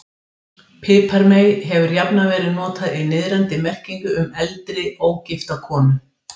Piparmey hefur jafnan verið notað í niðrandi merkingu um eldri, ógifta konu.